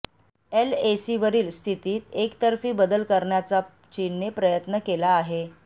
एलएसीवरील स्थितीत एकतर्फी बदल करण्याचा चीनने प्रयत्न केला आहे